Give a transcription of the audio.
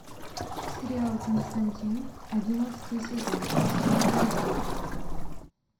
сериал константин одиннадцатый сезон последний эпизод